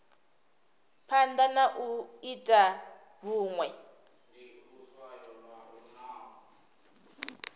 phanda na u ita vhunwe